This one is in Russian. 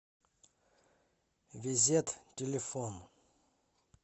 везет телефон